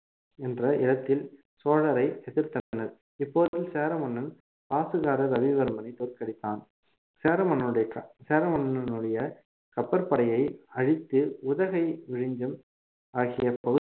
என்ற இடத்தில் சோழரை எதிர்த்தனர் இப்போது சேர மன்னன் பாசுகர ரவிவர்மனை தோற்கடித்தான் சேர மன்னனுடைய க~ சேர மன்னனுடைய கப்பற்படையை அழித்து உதகை விழிஞம் ஆகிய பகுதி~